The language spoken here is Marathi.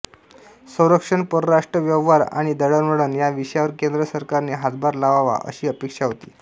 संरक्षण परराष्ट्र व्यवहार आणि दळणवळण या विषयांवर केंद्र सरकारने हातभार लावावा अशी अपेक्षा होती